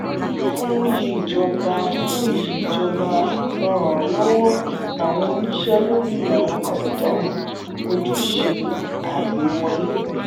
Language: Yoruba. fun yi ijoba fun yi ijoba lọ ran lọwọ awọn oniṣẹ lori awọn kọsitọmu ojuse lori agbewọle.